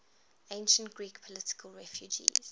ancient greek political refugees